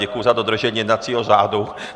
Děkuji za dodržení jednacího řádu.